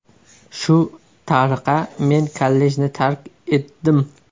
Shu tariqa men kollejni tark etdim.